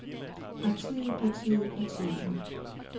partiet partiet partiet